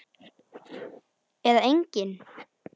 Eða engin?